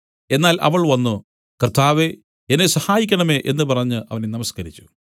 എന്നാൽ അവൾ വന്നു കർത്താവേ എന്നെ സഹായിക്കണമേ എന്നു പറഞ്ഞു അവനെ നമസ്കരിച്ചു